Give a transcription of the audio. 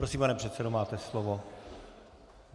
Prosím, pane předsedo, máte slovo.